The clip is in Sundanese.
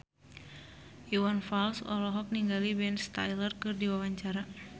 Iwan Fals olohok ningali Ben Stiller keur diwawancara